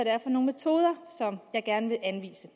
er for nogle metoder jeg gerne vil anvise